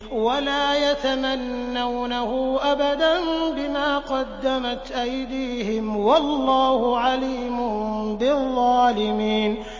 وَلَا يَتَمَنَّوْنَهُ أَبَدًا بِمَا قَدَّمَتْ أَيْدِيهِمْ ۚ وَاللَّهُ عَلِيمٌ بِالظَّالِمِينَ